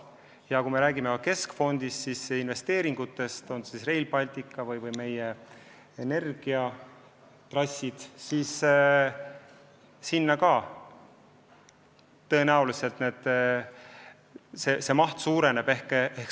Ja kui me räägime keskfondi investeeringutest, puudutagu need Rail Balticut või meie energiatrasse, siis nende maht tõenäoliselt suureneb.